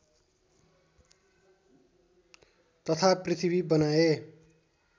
तथा पृथ्वी बनाए